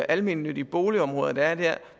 almennyttige boligområder der er der